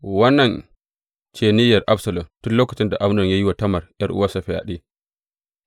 Wannan ce niyyar Absalom tun lokacin da Amnon ya yi wa Tamar ’yar’uwansa fyaɗe.